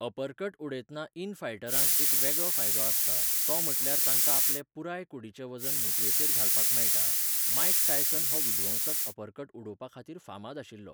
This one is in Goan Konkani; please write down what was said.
अपरकट उडयतना इन फायटरांक एक वेगळो फायदो आसता तो म्हणल्यार तांकां आपलें पुराय कुडीचें वजन मुटयेचेर घालपाक मेळटा, मायक टायसन हो विध्वंसक अपरकट उडोवपा खातीर फामाद आशिल्लो.